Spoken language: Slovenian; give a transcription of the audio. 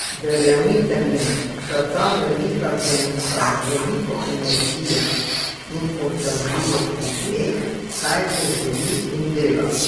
Verjemite mi, da ta velika ženska z veliko energije in očarljivosti ve, kaj govori in dela.